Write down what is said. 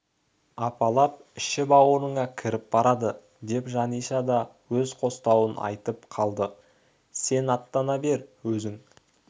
апалап іші-бауырыңа кіріп барады деп жаниша да өз қостауын айтып қалды сен аттана бер өзің